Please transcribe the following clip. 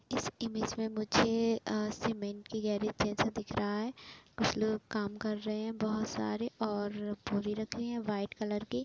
इस इमेज में मुझे सीमेंट की गैरेज जैसा दिख रहा है। कुछ लोग काम कर रहे हैं। बहुत सारे और बोरी रखी है व्हाइट कलर की।